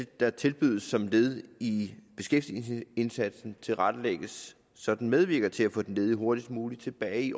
der tilbydes som led i beskæftigelsesindsatsen tilrettelægges så den medvirker til at få den ledige hurtigst muligt tilbage i